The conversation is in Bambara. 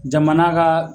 Jamana ka